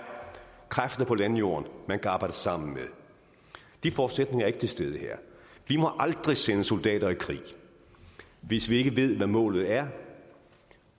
kræfter på landjorden man kan arbejde sammen med de forudsætninger er ikke til stede her vi må aldrig sende soldater i krig hvis vi ikke ved hvad målet er